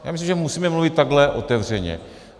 Já myslím, že musíme mluvit takto otevřeně.